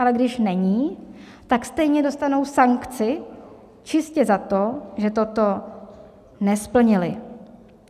Ale když není, tak stejně dostanou sankci čistě za to, že toto nesplnili.